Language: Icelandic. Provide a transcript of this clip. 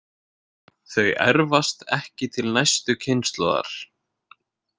Þau erfast ekki til næstu kynslóðar.